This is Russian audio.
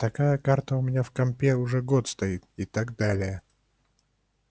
такая карта у меня в компе уже год стоит и так далее